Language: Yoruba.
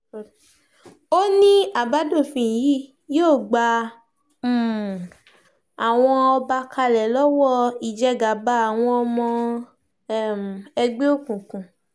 ó ní àbádòfin yìí yóò gba um àwọn ọba kalẹ̀ lọ́wọ́ ìjẹgàba àwọn ọmọ um ẹgbẹ́ òkùnkùn